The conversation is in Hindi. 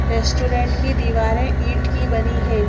रेस्टोरेंट की दीवारें ईंट की बनी है।